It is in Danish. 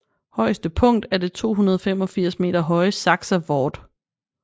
Højeste punkt er det 285 m høje Saxa Vord